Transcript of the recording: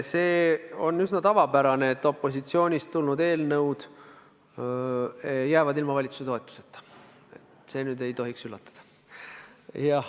See on üsna tavapärane, et opositsioonist tulnud eelnõud jäävad ilma valitsuse toetuseta, see ei tohiks üllatada.